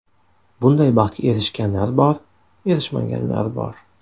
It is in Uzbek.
Bunday baxtga erishganlar bor, erishmaganlar bor.